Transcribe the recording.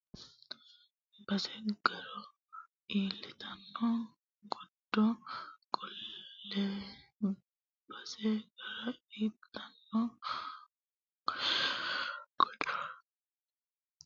base garo litanno godo Qoollee base garo litanno godo Qoollee Qoollee godo litanno garo base umisi aana fincinanni Agishsho ikki !